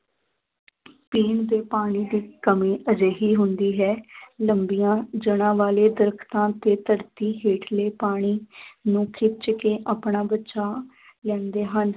ਪੀਣ ਦੇ ਪਾਣੀ ਦੀ ਕਮੀ ਅਜਿਹੀ ਹੁੰਦੀ ਹੈ ਲੰਬੀਆਂ ਜੜ੍ਹਾਂ ਵਾਲੇ ਦਰੱਖਤਾਂ ਤੇ ਧਰਤੀ ਹੇਠਲੇ ਪਾਣੀ ਨੂੰ ਖਿੱਚ ਕੇ ਆਪਣਾ ਬਚਾਅ ਲੈਂਦੇ ਹਨ,